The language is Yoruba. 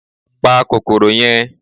Pa kòkòrò yẹn